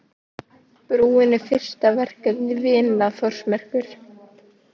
Brúin er fyrsta verkefni Vina Þórsmerkur